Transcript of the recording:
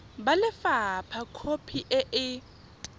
ba lefapha khopi e e